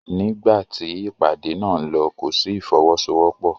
Nígbà tí ìpàdé náà ń lọ kò sí ìfọwọ́sowọ́pọ̀.